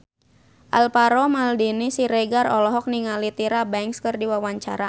Alvaro Maldini Siregar olohok ningali Tyra Banks keur diwawancara